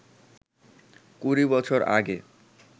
কুড়ি বছর আগে